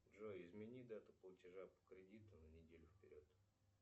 джой измени дату платежа по кредиту на неделю вперед